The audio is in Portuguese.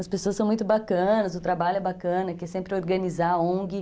As pessoas são muito bacanas, o trabalho é bacana, que é sempre organizar a ongui